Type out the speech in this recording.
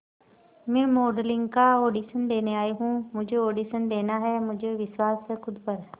मैं मॉडलिंग का ऑडिशन देने आई हूं मुझे ऑडिशन देना है मुझे विश्वास है खुद पर